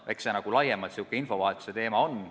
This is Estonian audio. Eks see ole laiemalt säärane infovahetuse teema.